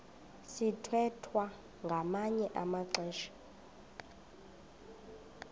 sithwethwa ngamanye amaxesha